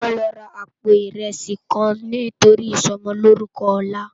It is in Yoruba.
Wòn lò rá àpó irèsí kán nitóri isòmòlórùkò òlá